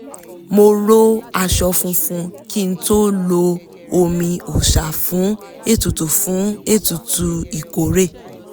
mo ró aṣọ funfun kí n tó lo omi òòsà fún ètùtù fún ètùtù ìkórè